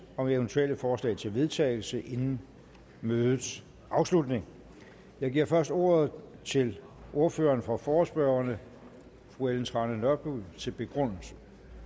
om eventuelle forslag til vedtagelse inden mødets afslutning jeg giver først ordet til ordføreren for forespørgerne fru ellen trane nørby til begrundelse